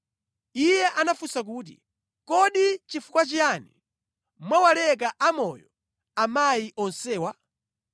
Iye anafunsa kuti, “Kodi nʼchifukwa chiyani mwawaleka amoyo amayi onsewa?”